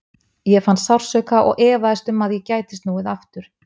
Ég fann sársauka og efaðist um að ég gæti snúið aftur.